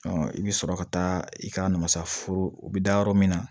i bɛ sɔrɔ ka taa i ka masa foro o bɛ da yɔrɔ min na